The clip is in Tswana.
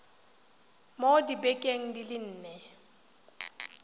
mo dibekeng di le nne